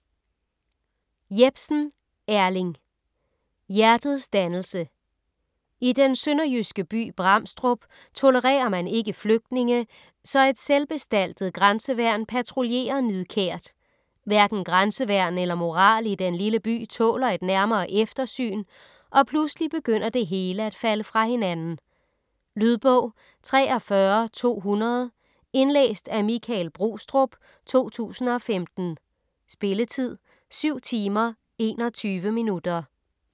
Jepsen, Erling: Hjertets dannelse I den sønderjyske by Bramstrup tolererer man ikke flygtninge, så et selvbestaltet grænseværn patruljerer nidkært. Hverken grænseværn eller moral i den lille by tåler et nærmere eftersyn, og pludselig begynder det hele at falde fra hinanden. Lydbog 43200 Indlæst af Michael Brostrup, 2015. Spilletid: 7 timer, 21 minutter.